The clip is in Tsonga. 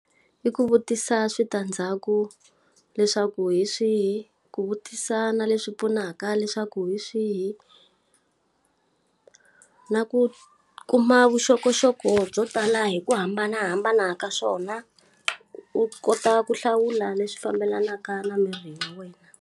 I ku vutisa switandzhaku leswaku hi swihi? Ku vutisa na leswi pfunaka leswaku hi swihi? Na ku kuma vuxokoxoko byo tala hi ku hambanahambana ka swona, u kota ku hlawula leswi fambelanaka na miri wa wena.